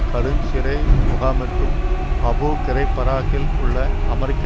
கடுஞ் சிறை முகாமிற்கும் Abu Ghraib ஈராக்கில் உள்ள அமெரிக்க